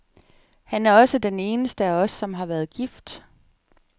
Han er også den eneste af os, som har været gift.